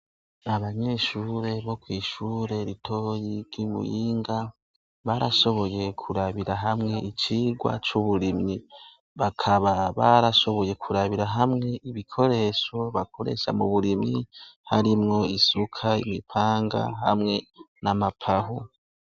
Abanyeshure bo kw'ishure ritoyi ry'i Muyinga, barashoboye kurabira hamwe icigwa c'uburimyi, bakaba barashoboye kurabira hamwe ibikoresho bakoresha m'uburimyi, harimwo isuka, imipanga, hamwe nam'amapawa.